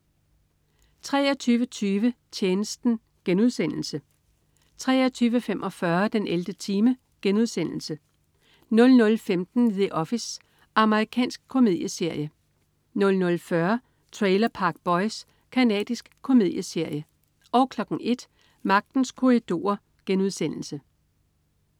23.20 Tjenesten* 23.45 den 11. time* 00.15 The Office. Amerikansk komedieserie 00.40 Trailer Park Boys. Canadisk komedieserie 01.00 Magtens Korridorer*